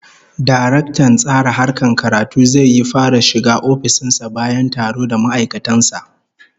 Daraktan Tsara Harkar Karatu zai yi fara shiga ofishin sa bayan taro da ma'aikatan sa